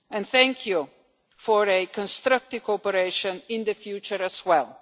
Thank you for a constructive cooperation, in the future as